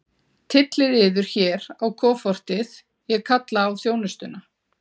Tyllið yður hér á kofortið, ég kalla á þjónustuna.